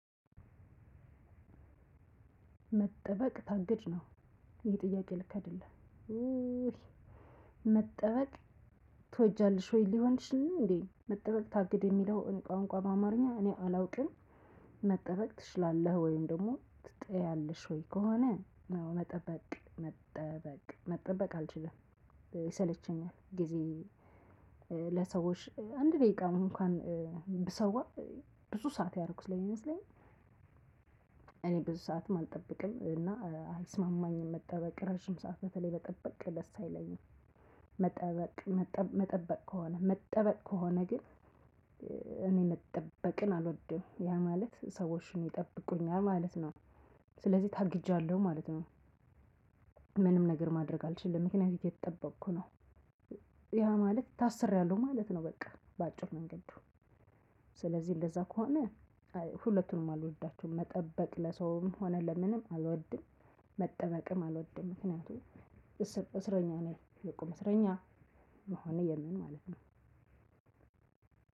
መጠበቅ ታግድ ነው ይሄ ጥያቄ ልክ አደለም። መጠበቅ ትወጃለሽ ወይ ሊሆንሽ እንዴ? መጠበቅ ታግድ የሚለው እንቋንቋ በአማርኛ እኔ አላውቅም። መጠበቅ ትችላለህ ወይም ደግሞ ትጠያለሽ ወይ? ከሆነ ነው መጠበቅ መጠበቅ መጠበቅ አልችልም። ይሰለቸኛል ጊዜ ለሰዎች አንድ ደቂቃ እንኳን ብሰዋ ብዙ ሰዓት ያደረኩት ላይ ይመስለኛል። ብዙ ሰዓትም አልጠብቅም እና አይስማማኝም መጠበቅ ረጅም ሰዓት በተለይ መጠበቅ ደስ አይለኝም። መጠበቅ መጠበቅ ከሆነ መጠበቅ ከሆነ ግን እኔ መጠበቅን አልወድም ያ ማለት ሰዎችን ይጠብቁኛል ማለት ነው። ስለዚህ ታግጃለሁ ማለት ነው። ምንም ነገር ማድረግ አልችልም ምክንያቱም እተጠበቅኩ ነው። ማለት ታስሬያለሁ ማለት ነው። በቃ በአጭር መንገድ ስለዚህ እንደዛ ከሆነ። ሁለቱንም አልወደዳቸውም መጠበቅ ለሰውም ሆነ ለምንም አልወድም። መጠበቅም አልወድም ምክኒያቱም እስረኛ ነኝ የቆመ እስረኛ መሆን የለም ማለት ነው።